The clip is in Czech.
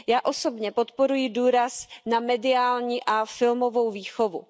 Já osobně podporuji důraz na mediální a filmovou výchovu.